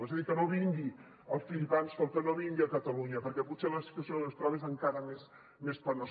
és a dir que no vingui el philip alston que no vingui a catalunya perquè potser la situació que es troba és encara més penosa